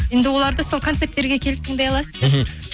енді оларды сол концерттерге келіп тыңдай аласыздар